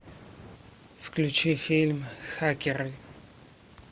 включи фильм хакеры